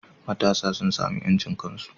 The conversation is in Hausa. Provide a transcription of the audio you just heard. Matasa sun samu yancin kansu